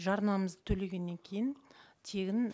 жарнамызды төлегеннен кейін тегін